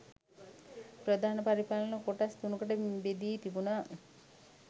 ප්‍රධාන පරිපාලන කොටස් තුනකට බෙදී තිබුණ